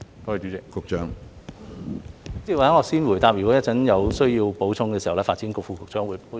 主席，或許我先回答，如果有需要，稍後再由發展局副局長補充。